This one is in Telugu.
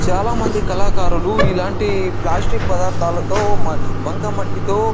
చాల మంది కళాకారలు ఇలాంటి ప్లాస్టిక్ పదార్తలతో బంక మట్టితో --